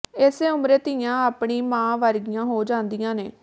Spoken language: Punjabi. ਇਸ ਉਮਰੇ ਧੀਆਂ ਆਪਣੀ ਮਾਂ ਵਰਗੀਆਂ ਹੋ ਜਾਂਦੀਆਂ ਨੇ